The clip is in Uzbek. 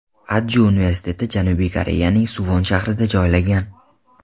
Adju universiteti Janubiy Koreyaning Suvon shahrida joylangan.